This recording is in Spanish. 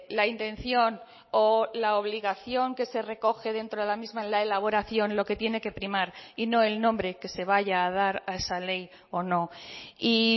la intención o la obligación que se recoge dentro de la misma la elaboración lo que tiene que primar y no el nombre que se vaya a dar a esa ley o no y